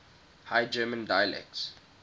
high german dialects